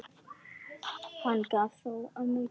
Hann gaf þó ömmu gætur.